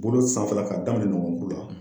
Bolo sanfɛla k'a daminɛ nɔkɔnkuru la